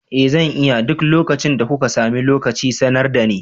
Eh zan iya, duk lokacin da kuka samu lokaci sanar dani.